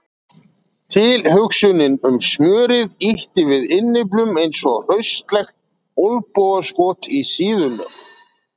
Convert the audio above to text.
Tilhugsunin um smjörið ýtti við innyflunum eins og hraustlegt olnbogaskot í síðuna.